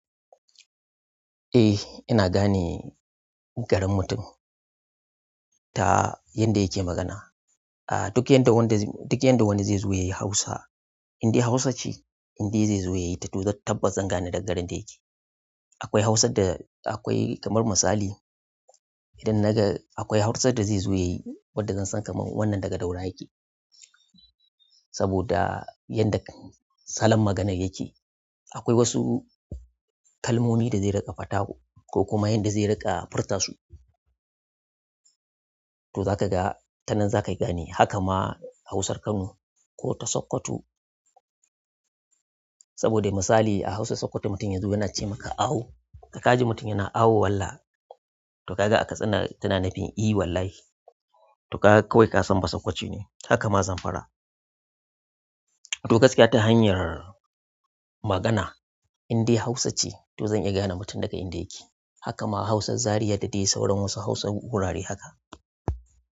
Eh, ina gane garin mutum ta yanda yake magana ah duk yadda wanda, duk yadda wani zai zo yayi Hausa, indai Hausa ce, indai zai zo yayi ta to zan tabbas zan gane daga garin da yake. Akwai Hausar da akwai kamar misali, idan naga akwai Hausar da zai zo yayi wadda zan san kamar wannan daga Daura yake. Saboda yanda salon maganar yake. Akwai wasu kalmomi da zai ringa faɗa koh kuma yanda zai ringa furta su to za ka ga tanan za ka yi ganewa. Haka ma a Hausar Kano ko ta Sokoto. Saboda misali a Hausar Sokoto mutum ya zo yana ce maka "Awo", ka ka ji mutum yana "Awo" wallah. To ka ga a Katsina tana nafin eh wallahi. To kaga kawai ka san ba Sakkwace ce ne. Haka ma Zamfara. To gaskiya ta hanyar magana indai Hausa ce to zan iya gane mutum daga inda yake. Haka ma hausar Zaria da dai sauran hausar wasu wurare haka.